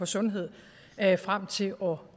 sundhed frem til år